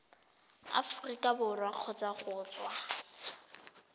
aforika borwa kgotsa go tswa